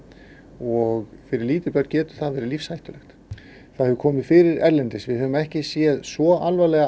og fyrir lítil börn getur það verið lífshættulegt það hefur komið fyrir erlendis við höfum ekki séð svo alvarlegar